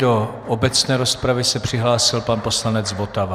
Do obecné rozpravy se přihlásil pan poslanec Votava.